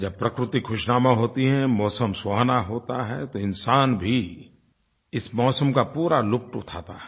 जब प्रकृति ख़ुशनुमा होती है मौसम सुहावना होता है तो इंसान भी इस मौसम का पूरा लुत्फ़ उठाता है